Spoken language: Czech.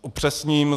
Upřesním.